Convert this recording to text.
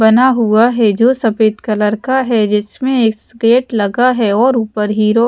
बना हुआ है जो सफेद कलर का है जिसमें एक स्केट लगा है और ऊपर हीरो --